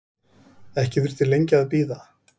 Ekki þurfti lengi að bíða.